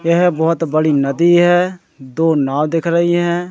यह बहोत बड़ी नदी है दो नाव दिख रही है।